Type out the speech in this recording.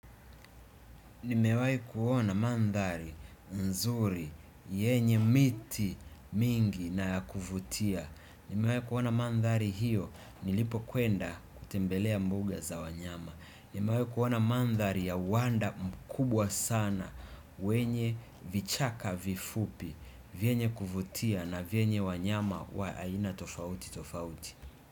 Nimewai kuona mandhari, nzuri, yenye miti mingi na ya kuvutia. Nimewai kuona mandhari hiyo nilipokwenda kutembelea mbuga za wanyama nimewai kuona mandhari ya wanda mkubwa sana wenye vichaka vifupu vyenye kuvutia na vyenye wanyama wa aina tofauti tofauti.